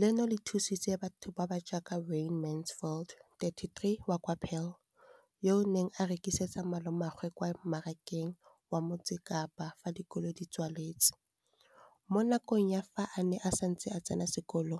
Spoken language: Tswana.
leno le thusitse batho ba ba jaaka Wayne Mansfield, 33, wa kwa Paarl, yo a neng a rekisetsa malomagwe kwa Marakeng wa Motsekapa fa dikolo di tswaletse, mo nakong ya fa a ne a santse a tsena sekolo,